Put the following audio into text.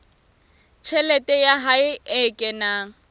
tjhelete ya hae e kenang